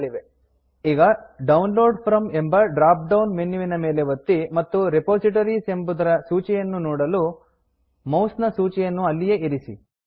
ಈಗ download from download from ಎಂಬ drop down ಮೆನ್ಯುವಿನ ಮೇಲೆ ಒತ್ತಿ ಮತ್ತು ರಿಪೋಸಿಟರೀಸ್ ಎಂಬುದರ ಸೂಚಿಯನ್ನು ನೋಡಲು ಮೌಸ್ ನ ಸೂಚಿಯನ್ನು ಅಲ್ಲಿಯೇ ಇರಿಸಿ